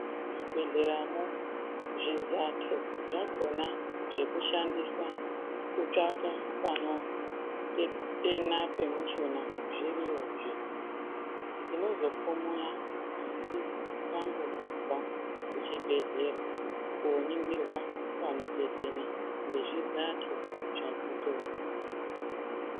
Muzvibhedhleramwo zvizato zvakhona zvekushandisa kutsvaka panotetena pemushuna zviriyozve. Tinozobva muya asi tambobva kuchibhehlera kooningirwe panotetena ngezvizato.